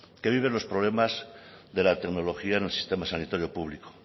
que viven los problemas de la tecnología en el sistema sanitario público